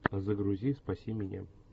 загрузи спаси меня